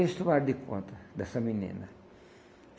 eles tomaram de conta dessa menina.